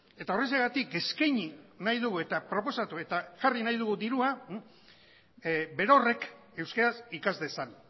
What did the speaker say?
eta horrexegatik eskaini nahi dugu eta proposatu eta jarri nahi dugu dirua berorrek euskaraz ikas dezan